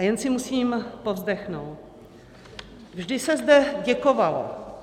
A jen si musím povzdechnout - vždy se zde děkovalo.